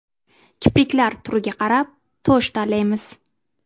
Kipriklar turiga qarab tush tanlaymiz.